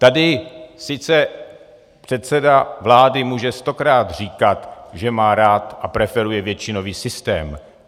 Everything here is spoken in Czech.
Tady sice předseda vlády může stokrát říkat, že má rád a preferuje většinový systém.